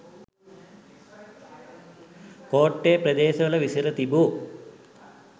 කෝට්ටේ ප්‍රදේශවල විසිර තිබූ